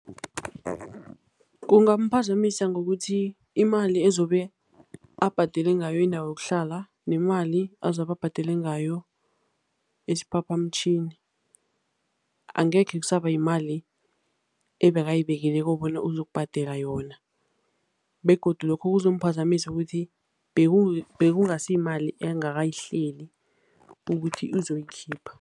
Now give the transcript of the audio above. Kungaphazamiseka ngokuthi imali ezobe abhadele ngayo indawo yokuhlala nemali azabe abhadele ngayo isiphaphamtjhini, angekhe kusaba yimali ebekayibekileko bona uzokubhadela yona begodu lokho kuzomphazamisa ukuthi bekungasiyimali engakayihleli ukuthi uzoyikhipha.